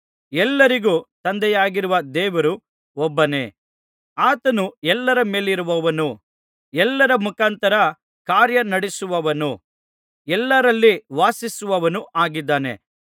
ಎಲ್ಲರಿಗೂ ತಂದೆಯಾಗಿರುವ ದೇವರು ಒಬ್ಬನೇ ಆತನು ಎಲ್ಲರ ಮೇಲಿರುವವನೂ ಎಲ್ಲರ ಮುಖಾಂತರ ಕಾರ್ಯ ನಡಿಸುವವನೂ ಎಲ್ಲರಲ್ಲಿ ವಾಸಿಸುವವನೂ ಆಗಿದ್ದಾನೆ